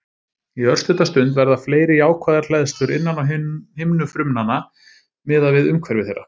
Í örstutta stund verða fleiri jákvæðar hleðslur innan á himnu frumnanna miðað við umhverfi þeirra.